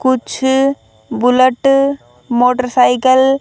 कुछ bullet motorcycle